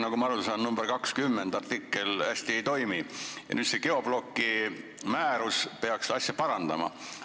Nagu ma aru saan, teenuste direktiivi artikkel 20 hästi ei toimi ja see geobloki määrus peaks asja parandama.